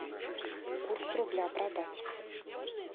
курс рубля продать